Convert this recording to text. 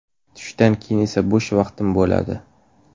Tushdan keyin esa bo‘sh vaqtim bo‘ladi.